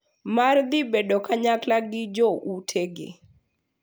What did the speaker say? Mar dhi bedo kanyakla gi joutegi.